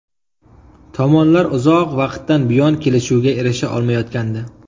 Tomonlar uzoq vaqtdan buyon kelishuvga erisha olmayotgandi.